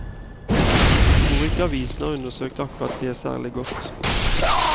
Vi tror ikke avisen har undersøkt akkurat det særlig godt.